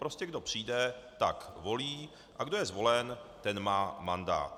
Prostě kdo přijde, tak volí, a kdo je zvolen, ten má mandát.